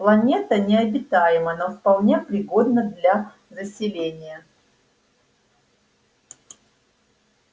планета необитаема но вполне пригодна для заселения